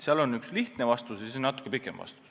Sellele oleks üks lühike vastus ja natuke pikem vastus.